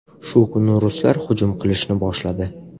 Shu kuni ruslar hujum qilishni boshladi.